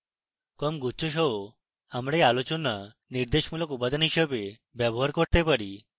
কম গুচ্ছ সহ আমরা এই আলোচনা নির্দেশমূলক উপাদান হিসাবে ব্যবহার করতে পারি